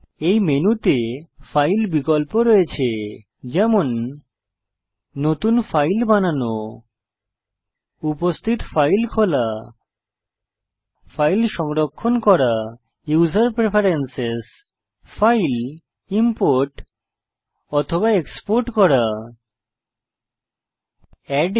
এই মেনুতে ফাইল বিকল্প রয়েছে যেমন নতুন ফাইল বানানো উপস্থিত ফাইল খোলা ফাইল সংরক্ষণ করা ইউসার প্রেফেরেন্সেস ফাইল ইম্পোর্ট অথবা এক্সপোর্ট করা ইত্যাদি